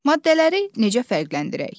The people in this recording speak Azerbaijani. Maddələri necə fərqləndirək?